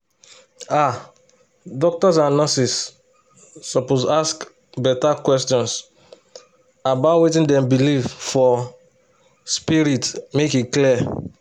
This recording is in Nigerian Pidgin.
ah doctors and nurses suppose ask better questions about wetin dem believe for spirit make e clear